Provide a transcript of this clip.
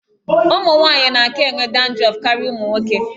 Ụmụ nwaanyị na-aka enwe dandrọf karịa ụmụ nwoke.